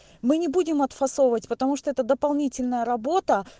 мы не будем отфасовывать потому что это дополнительная работа